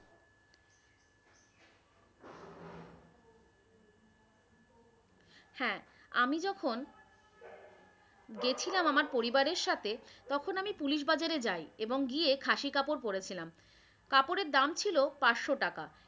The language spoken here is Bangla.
হ্যাঁ আমি যখন গেছিলাম আমার পরিবারের সাথে তখন আমি পুলিশ বাজারে যাই এবং গিয়ে খাসি কাপড় পরেছিলাম। কাপড়ের দাম ছিল পাঁচশো টাকা।